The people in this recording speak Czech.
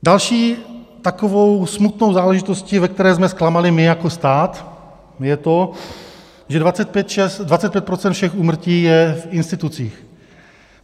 Další takovou smutnou záležitostí, ve které jsme zklamali my jako stát, je to, že 25 % všech úmrtí je v institucích.